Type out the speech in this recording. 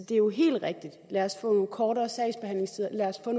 det er jo helt rigtigt at sige lad os få kortere sagsbehandlingstider lad os få